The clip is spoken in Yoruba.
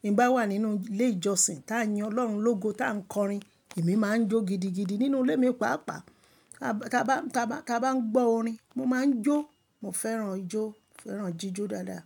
Bí mo bá wà nínú ilé ìjọsìn tí a ń yin Ọlọ́run lógo tí à ń kọrin, èmi máa ń jó gidigidi nínú ilé mi, pàápàá. Ka bá, ka bá, ka bá ń gbọ́ orin, mo máa ń jó. Mo fẹ́ràn ijó. Mo fẹ́ràn jíjó dáadáa.